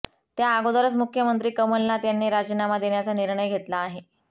त्या अगोदरच मुख्यमंत्री कमलनाथ यांनी राजीनामा देण्याचा निर्णय घेतला आहे